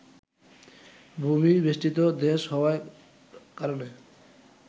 ভূমি-বেষ্টিত দেশ হওয়ার কারণে